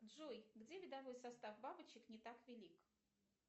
джой где видовой состав бабочек не так велик